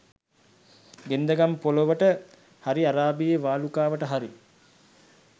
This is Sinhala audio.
ගෙන්දගම් පොළොවට හරි අරාබියේ වාලුකාවට හරි